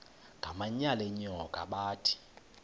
ngamanyal enyoka bathi